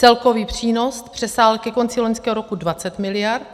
Celkový přínos přesáhl ke konci loňského roku 20 miliard.